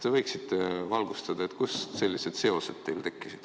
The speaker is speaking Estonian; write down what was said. Te võiksite valgustada, kust teil sellised seosed tekkisid.